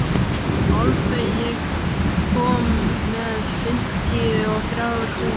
Álfey, ég kom með fimmtíu og þrjár húfur!